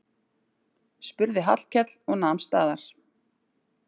spurði Hallkell og nam staðar.